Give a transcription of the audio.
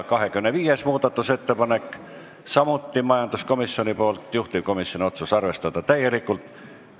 25. muudatusettepanek on samuti majanduskomisjonilt, juhtivkomisjoni otsus: arvestada täielikult.